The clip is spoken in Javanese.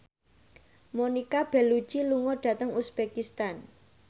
Monica Belluci lunga dhateng uzbekistan